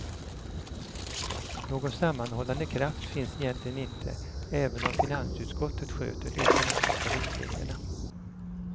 Någon sammanhållande kraft finns egentligen inte, även om finansutskottet sköter de ekonomiska riktlinjerna.